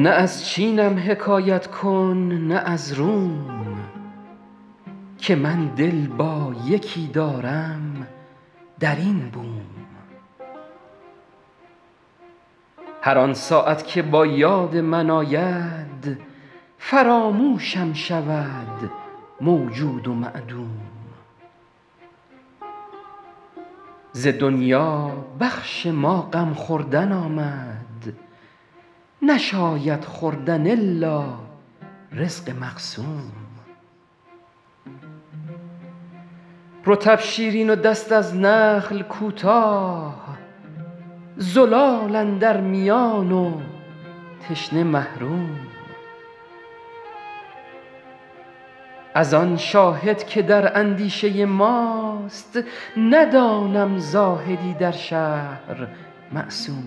نه از چینم حکایت کن نه از روم که من دل با یکی دارم در این بوم هر آن ساعت که با یاد من آید فراموشم شود موجود و معدوم ز دنیا بخش ما غم خوردن آمد نشاید خوردن الا رزق مقسوم رطب شیرین و دست از نخل کوتاه زلال اندر میان و تشنه محروم از آن شاهد که در اندیشه ماست ندانم زاهدی در شهر معصوم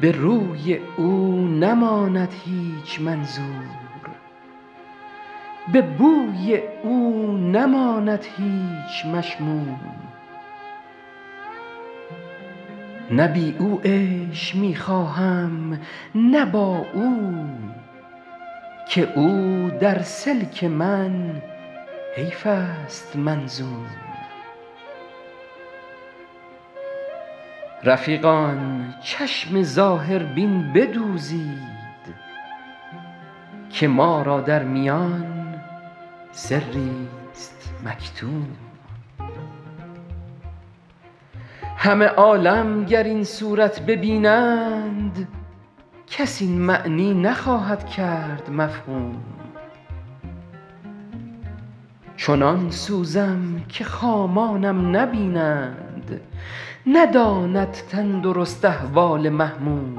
به روی او نماند هیچ منظور به بوی او نماند هیچ مشموم نه بی او عیش می خواهم نه با او که او در سلک من حیف است منظوم رفیقان چشم ظاهربین بدوزید که ما را در میان سریست مکتوم همه عالم گر این صورت ببینند کس این معنی نخواهد کرد مفهوم چنان سوزم که خامانم نبینند نداند تندرست احوال محموم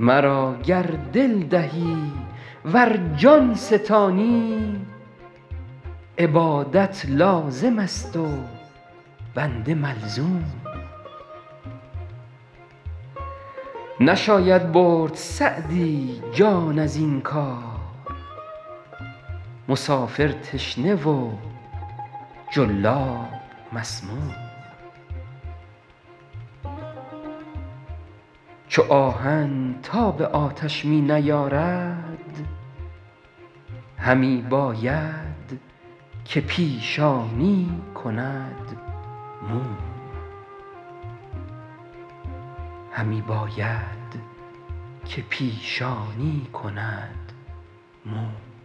مرا گر دل دهی ور جان ستانی عبادت لازم است و بنده ملزوم نشاید برد سعدی جان از این کار مسافر تشنه و جلاب مسموم چو آهن تاب آتش می نیارد همی باید که پیشانی کند موم